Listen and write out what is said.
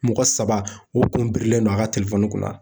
Mɔgɔ saba o kun birilen don a ka kɔnɔ